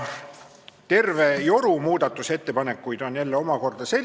Ma pean ütlema, et need muudatusettepanekud jagunevad eri kategooriatesse.